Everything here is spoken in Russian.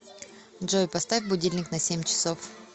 джой поставь будильник на семь часов